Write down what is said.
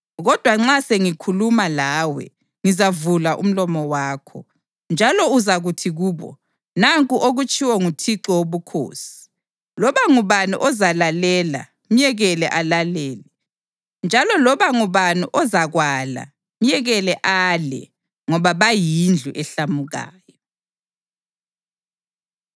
Kodwa nxa sengikhuluma lawe ngizavula umlomo wakho, njalo uzakuthi kubo, ‘Nanku okutshiwo nguThixo Wobukhosi.’ Loba ngubani ozalalela myekele alalele, njalo loba ngubani ozakwala myekele ale; ngoba bayindlu ehlamukayo.”